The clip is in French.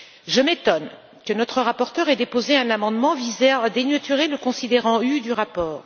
Je m'étonne que notre rapporteur ait déposé un amendement visant à dénaturer le considérant U du rapport.